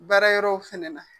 Baara yɔrɔ fɛnɛ na